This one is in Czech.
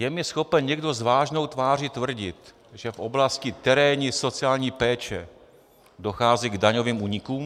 Je mi schopen někdo s vážnou tváří tvrdit, že v oblasti terénní sociální péče dochází k daňovým únikům?